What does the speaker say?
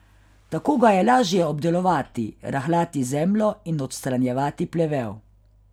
Tako ga je lažje obdelovati, rahljati zemljo in odstranjevati plevel.